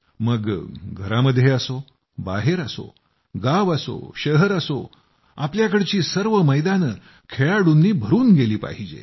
मग घरामध्ये असो बाहेर असो गाव असो शहर असो आपल्याकडची सर्व मैदानं खेळाडूंनी भरून गेली पाहिजेत